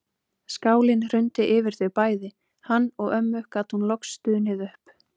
Skálinn hrundi yfir þau bæði, hann og ömmu gat hún loks stunið upp.